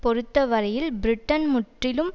பொறுத்தவரையில் பிரிட்டன் முற்றிலும்